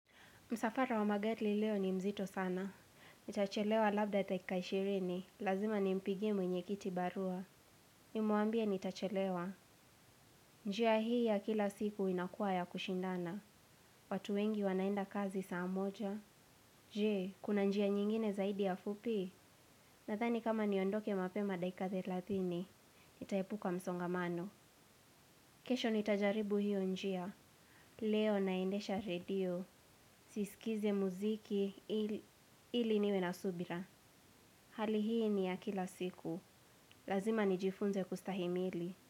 Msafara wa magari leo ni mzito sana. Nitachelewa labda dakika ishirini. Lazima ni mpigie mwenye kiti barua. Nimwambie nitachelewa. Njia hii ya kila siku inakua ya kushindana. Watu wengi wanaenda kazi saa moja. Jee, kuna njia nyingine zaidi ya fupi? Nadhani kama niondoke mapema dakika thelathini. nitaepuka msongamano. Kesho nitajaribu hiyo njia. Leo naendesha radio. Siskize muziki ili niwe na subira. Hali hii ni ya kila siku. Lazima nijifunze kustahimili.